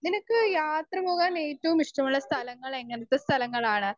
Speaker 1 നിനക്ക് യാത്ര പോകാൻ ഏറ്റവും ഇഷ്ടമുള്ള സ്ഥലങ്ങൾ എങ്ങനത്തെ സ്ഥലങ്ങളാണ്?